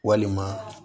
Walima